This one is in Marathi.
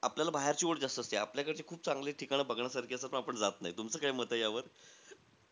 आपल्याला बाहेरची ओढ जास्त असते. आपल्याकडचे खूप चांगले ठिकाणं बघण्यासारखी असतात, पण आपण जात नाही. तुमचं काय मते यावर?